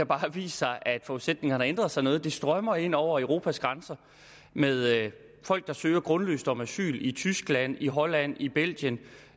bare vist sig at forudsætningerne har ændret sig noget det strømmer ind over europas grænser med folk der søger grundløst om asyl i tyskland i holland i belgien